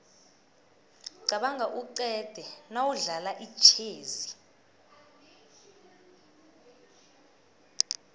qabanga uqede nawudlala itjhezi